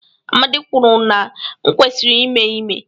Amadi kwuru na m kwesịrị ime ime